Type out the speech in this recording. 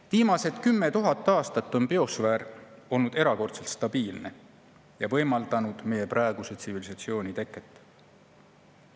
Viimased 10 000 aastat on biosfäär olnud erakordselt stabiilne ja võimaldanud meie praeguse tsivilisatsiooni teket.